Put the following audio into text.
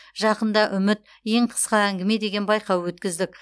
жақында үміт ең қысқа әңгіме деген байқау өткіздік